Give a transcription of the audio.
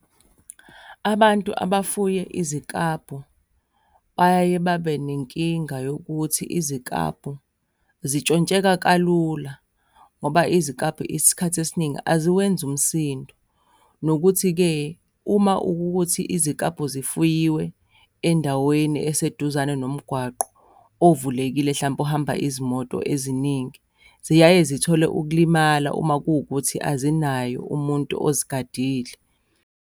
Abantu abafuye iziklabhu bayaye babe nenkinga yokuthi iziklabhu zintshontsheka kalula, ngoba iziklabhu isikhathi esiningi aziwenzi umsindo. Nokuthi-ke, uma ukuthi iziklabhu zifuyiwe endaweni eseduzane nomgwaqo ovulekile hlampe ohamba izimoto eziningi, ziyaye zithole ukulimala uma kuwukuthi azinaye umuntu ozigadile.